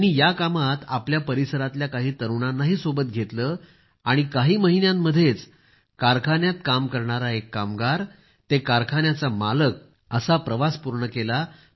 त्यांनी या कामात आपल्या परिसरातील काही तरुणांना सोबत घेतले घेतले आणि काही महिन्यांमध्येच कारखान्यात काम करणारा एक कामगार ते कारखान्याचा मालक असा प्रवास पूर्ण केला